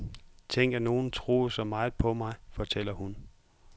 Tænk at nogen troede så meget på mig, fortæller hun.